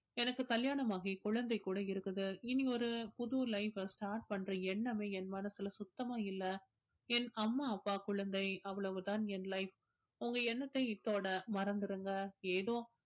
எனக்கு கல்யாணம் ஆகி குழந்தை கூட இருக்குது இனி ஒரு புது life அ start பண்ற எண்ணமே என் மனசுல சுத்தமா இல்லை என் அம்மா அப்பா குழந்தை அவ்வளவுதான் என் life உங்க எண்ணத்தை இத்தோட மறந்துருங்க ஏதோ